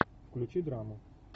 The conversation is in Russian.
включи драму